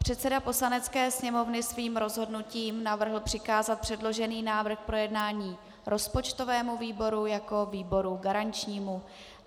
Předseda Poslanecké sněmovny svým rozhodnutím navrhl přikázat předložený návrh k projednání rozpočtovému výboru jako výboru garančnímu.